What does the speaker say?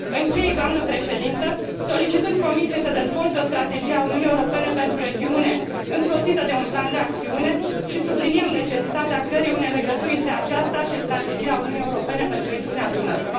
Închei, doamnă președintă, solicitând Comisiei să dezvolte o strategie a Uniunii Europene pentru regiune, însoțită de un plan de acțiune și subliniem necesitatea creării unei legături între aceasta și strategia Uniunii Europene pentru regiunea Dunării.